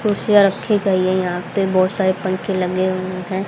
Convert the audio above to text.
कुर्सियां रखी गई है यहां पे बहुत सारे पंखे लगे हुए हैं।